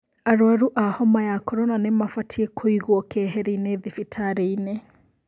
Arwaru a homa ya korona nĩ mabatiĩ kũigwo keheri-inĩ thibitari-ini?